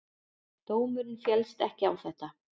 Dómurinn féllst ekki á þetta.